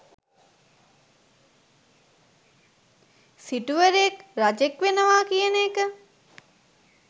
සිටුවරයෙක්, රජෙක් වෙනවා කියන එක